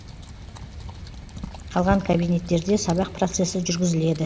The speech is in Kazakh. қалған кабинеттерде сабақ процесі жүргізіледі